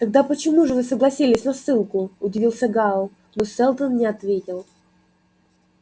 тогда почему же вы согласились на ссылку удивился гаал но сэлдон не ответил